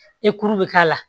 E kuru bɛ k'a la